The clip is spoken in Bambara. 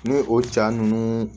Ni o ja ninnu